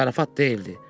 Zarafat deyildi.